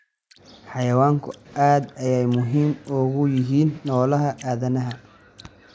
Xayawaanku aad ayey muhiim ugu yihiin nolosha aadanaha.